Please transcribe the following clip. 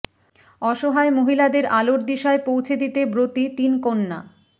অসহায় মহিলাদের আলোর দিশায় পৌঁছে দিতে ব্রতী তিন কন্যা